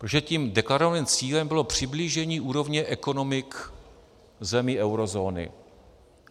Protože tím deklarovaným cílem bylo přiblížení úrovně ekonomik zemí eurozóny.